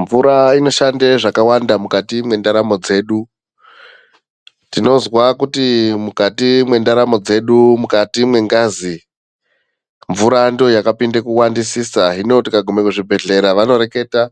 Mvura inoshande zvakawanda mukati mwendaramo dzedu, tinozwa kuti mukati mwendaramo dzedu, mukati mwengazi mvura ndiyo yakapinda kuwandisisa hino tikaguma kuzvibhedhlera vanoreketa